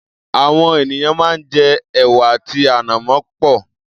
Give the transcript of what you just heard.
Àwọn ènìyàn máa ń jẹ ẹ̀wà àti ànàmọ́ pẹ̀.